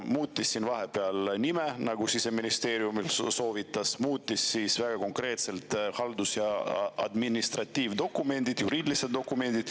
Ta muutis siin vahepeal nime, nagu Siseministeerium soovitas, ta muutis väga konkreetselt ära haldus‑ ja administratiivdokumendid, juriidilised dokumendid.